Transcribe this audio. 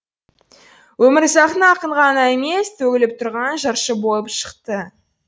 өмірзақтың ақын ғана емес төгіліп тұрған жыршы болып шықты